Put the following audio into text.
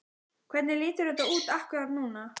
Hvernig lítur þetta út akkúrat núna?